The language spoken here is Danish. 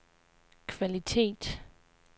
kvalitet